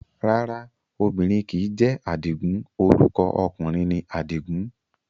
Rárá obìnrin kìí jẹ́ Àdìgún, orúkọ ọkùnrin ni Àdìgún